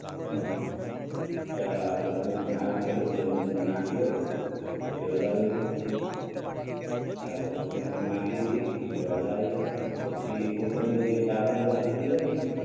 હુ ચાલ આ કોથમીર પણ આવી ગઈ હવે તેની અંદર નાખી દવ પછી હલાવી લવ ચાલ કોથમીર પણ નાખી દીધી હવે હલાવી લવ પછી ઢાંકણું બંધ કરી દવ ને